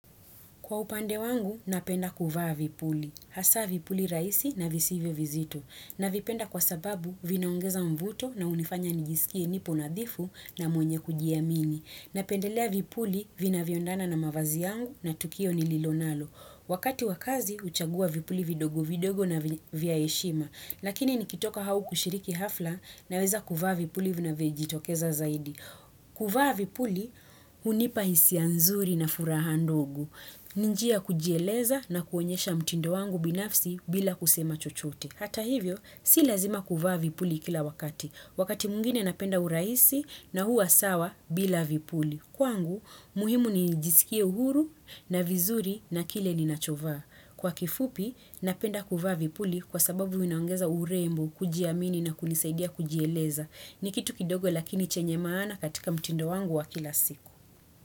Kwa upande wangu, napenda kuvaa vipuli. Hasa vipuli raisi na visivyo vizito. Navipenda kwa sababu vinaongeza mvuto na unifanya nijisikie nipo nadhifu na mwenye kujiamini. Napendelea vipuli vinavyo endana na mavazi yangu na tukio nililonalo. Wakati wa kazi, uchagua vipuli vidogo vidogo na vya heshima. Lakini nikitoka hau kushiriki hafla naweza kuvaa vipuli vinavyo jitokeza zaidi. Kuvaa vipuli, unipa hisia nzuri na furaha ndogo. Ni njia kujieleza na kuonyesha mtindo wangu binafsi bila kusema chochote. Hata hivyo, si lazima kuvaa vipuli kila wakati. Wakati mwingine napenda urahisi na hua sawa bila vipuli. Kwangu, muhimu ni nijisikie uhuru na vizuri na kile ninachovaa. Kwa kifupi, napenda kuvaa vipuli kwa sababu vinaongeza urembo, kujiamini na kunisaidia kujieleza. Ni kitu kidogo lakini chenye maana katika mtindo wangu wa kila siku.